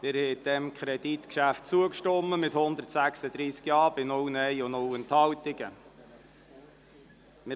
Sie haben diesem Kreditgeschäft mit 136 Ja- zu 0 Nein-Stimmen bei 0 Enthaltungen zugestimmt.